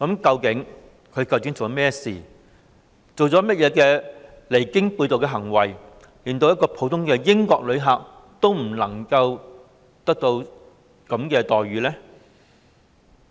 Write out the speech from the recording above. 究竟他做了甚麼事情或做出甚麼離經背道的行為，令他受到的對待連一名普通英國旅客也不如？